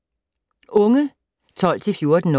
Unge 12-14 år